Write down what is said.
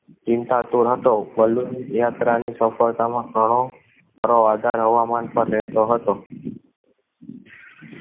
ચિંતા તૂર હતો. યાત્રા ની સફળતા માં કરો પર આધાર હવામાન પર રહે તો હતો